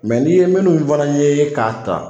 n'i ye minnu fana ye, k'a ta